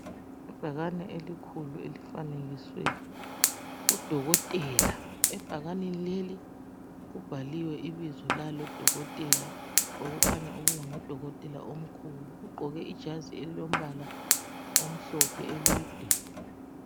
Ibhakane elikhulu elifakiswe udokotela, ebhakaneni leli kubhaliwe ibizo lalodokotela lowu okukhanya ukuba ngudokotela omkhulu. uGqoke ijasi elilombala omhlophe elide.